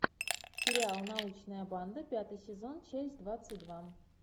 сериал научная банда пятый сезон часть двадцать два